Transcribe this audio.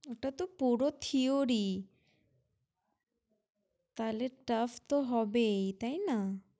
ওটাতো পুরো theory । তাইলে tough তো হবেই, তাই না?